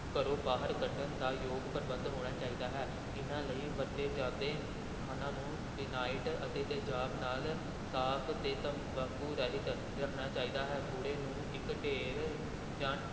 ਘਰੋਂ ਬਾਹਰ ਕੱਢਣ ਦਾ ਯੋਗ ਪ੍ਰਬੰਧ ਹੋਣਾ ਚਾਹੀਦਾ ਹੈ, ਇਨ੍ਹਾਂ ਲਈ ਵਰਤੇ ਜਾਂਦੇ ਸਥਾਨਾਂ ਨੂੰ ਫਿਨਾਇਟ ਅਤੇ ਤੇਜ਼ਾਬ ਨਾਲ ਸਾਫ਼ ਤੇ ਤਬਾਕੂੰ ਰਹਿਤ ਰੱਖਣਾ ਚਾਹੀਦਾ ਹੈ, ਕੂੜੇ ਨੂੰ ਇਕ ਢੇਰ ਜਾਂ